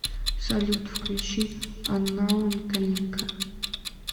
салют включи анноун калинка